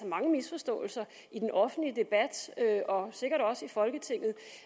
mange misforståelser i den offentlige debat og sikkert også i folketinget